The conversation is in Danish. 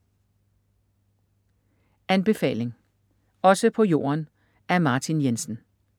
Anbefaling: Også på jorden af Martin Jensen